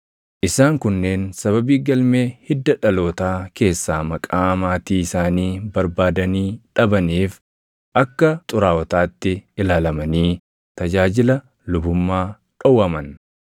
Isaan kunneen sababii galmee hidda dhalootaa keessaa maqaa maatii isaanii barbaadanii dhabaniif akka xuraaʼotaatti ilaalamanii tajaajila lubummaa dhowwaman.